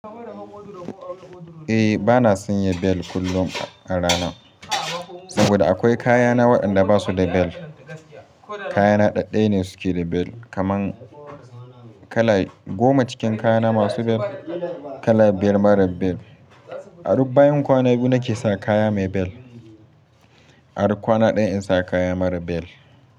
Eh bana sanya bel kullum a rana, saboda akwai kaya na waɗanda basu da bel. Kaya na ɗaya ne suke da bel kamar kala goma cikin kaya na masu bel kala bel mara bel. A duk bayan kwana biyu nake saka kaya mai bel, a duk kwana ɗaya insa kaya mara bel.